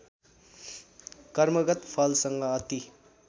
कर्मगत फलसँग अति